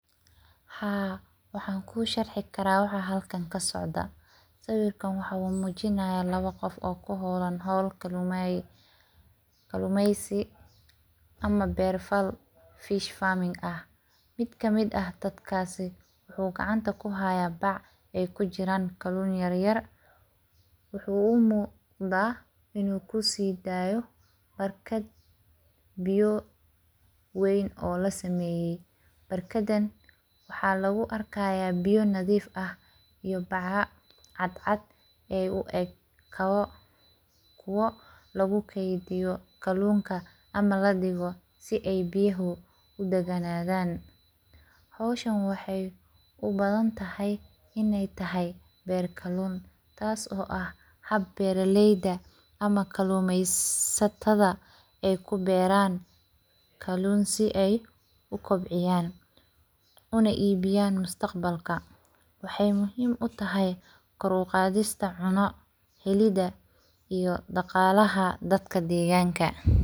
Haa waxan kusharixi kara waxan halkan kasocdo, siwirkan wuxu mujiyanayah labo qoof oo kuholan hool kalumeysi, ama ber fal fish farming ah, mid kamid ah dadkasi wuxu gacanta kuhaya baac ay kujiran kalun yaryar wuxuu umuqda inu kusidayo barkad biyo weyn oo laa sameyee, barkadan waxa lagu arkaya biyo nadif ah iyo bacaa cad cad ee ueg kabo lagukediyo kalunka ama ladigo si biyaha udaganadan, hoshan waxay ubadantahay inay tahay ber kalun tasi oo ah haab beraleyda ama kalumeysatada aay kuberan kalun, sii aay uu kobciyan una ibiyan mustacbalka waxay muhim utahay koor uqadista cuno helida iyo daqalaha dadka deganka.